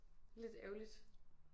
Lidt ærgerligt